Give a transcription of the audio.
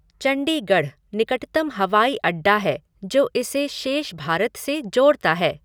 चंडीगढ़ निकटतम हवाई अड्डा है जो इसे शेष भारत से जोड़ता है।